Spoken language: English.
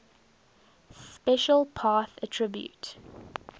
special path attribute